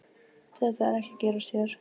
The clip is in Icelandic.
Þetta er ekki að gerast hér.